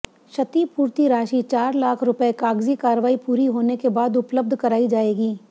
क्षतिपूर्ति राशि चार लाख स्र्पए कागजी कार्रवाई पूरी होने के बाद उपलब्ध कराई जाएगी